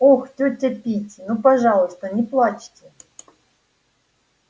ох тётя питти ну пожалуйста не плачьте